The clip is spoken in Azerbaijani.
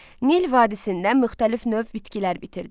Nil vadisində müxtəlif növ bitkilər bitirdi.